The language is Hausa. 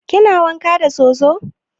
Kina wanka da soso?